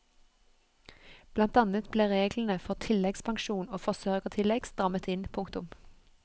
Blant annet ble reglene for tilleggspensjon og forsørgertillegg strammet inn. punktum